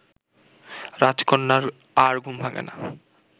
রাজকন্যার আর ঘুম ভাঙ্গে না